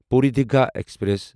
Puri Digha express